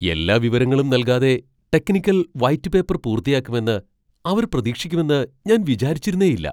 എല്ലാ വിവരങ്ങളും നൽകാതെ ടെക്നിക്കൽ വൈറ്റ് പേപ്പർ പൂർത്തിയാക്കുമെന്ന് അവർ പ്രതീക്ഷിക്കുമെന്ന് ഞാൻ വിചാരിച്ചിരുന്നേയില്ല.